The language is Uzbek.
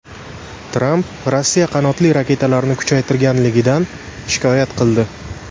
Tramp Rossiya qanotli raketalarni kuchaytirganligidan shikoyat qildi.